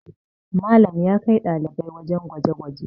Malam ya kai ɗalibai wajen gwaje gwaje